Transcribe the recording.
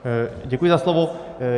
Děkuji za slovo.